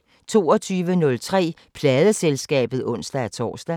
22:03: Pladeselskabet (ons-tor)